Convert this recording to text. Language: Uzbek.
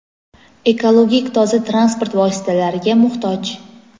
ekologik toza transport vositalariga muhtoj.